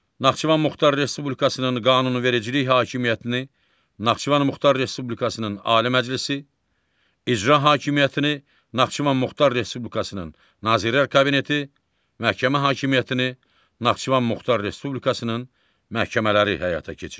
Naxçıvan Muxtar Respublikasının qanunvericilik hakimiyyətini Naxçıvan Muxtar Respublikasının Ali Məclisi, icra hakimiyyətini Naxçıvan Muxtar Respublikasının Nazirlər Kabineti, məhkəmə hakimiyyətini Naxçıvan Muxtar Respublikasının məhkəmələri həyata keçirir.